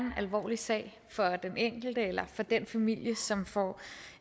en alvorlig sag for den enkelte eller for den familie som får